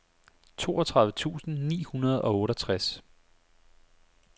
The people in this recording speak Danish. toogtredive tusind ni hundrede og otteogtres